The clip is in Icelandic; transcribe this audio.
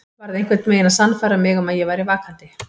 Varð einhvern veginn að sannfæra mig um að ég væri vakandi.